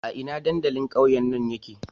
A ina dandalin ƙauyen nan yake?